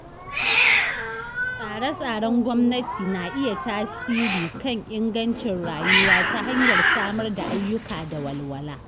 Tsare-tsaren gwamnati na iya tasiri kan ingancin rayuwa ta hanyar samar da ayyuka da walwala.